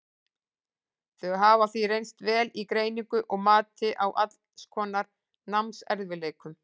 Þau hafa því reynst vel í greiningu og mati á alls konar námserfiðleikum.